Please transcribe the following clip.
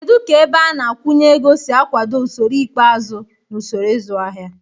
Kedu ka ebeana-akwụnyeego si akwado usoro ikpeazụ na usoro ịzụ ahịa?